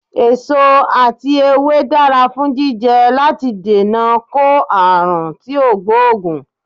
Èso ati ewé dara fun jijẹ lati dènà ko aarun ti o gboogun